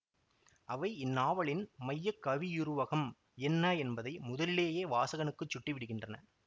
அவை இந்நாவலின் மைய கவியுருவகம் என்ன என்பதை முதலியேயே வாசகனுக்குச் சுட்டிவிடுகின்றன